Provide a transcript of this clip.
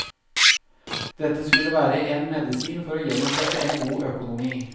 Dette skulle være en medisin for å gjenopprette en god økonomi.